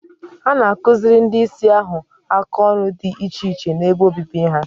A na akụziri ndị Ịsị ahụ aka ọrụ dị iche iche n'ebe obibi ha